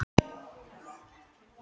Þeim þurfti ég að segja mömmu frá.